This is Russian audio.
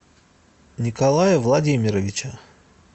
николая владимировича